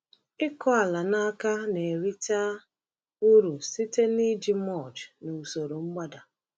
Ịkụ ala n’aka na-erite uru site n’iji mulch na usoro mgbada.